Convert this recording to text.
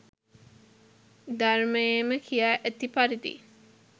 ධර්මයේම කියා ඇති පරිදි